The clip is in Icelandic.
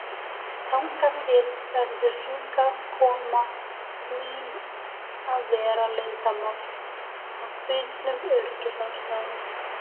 Þangað til verður hingaðkoma mín að vera leyndarmál, af brýnum öryggisástæðum.